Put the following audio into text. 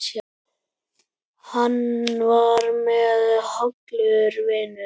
Hann var mér hollur vinur.